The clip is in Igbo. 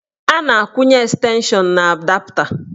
A na-akwụnye estenshọn na adapta.